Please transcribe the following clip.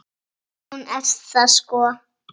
Hún er það sko.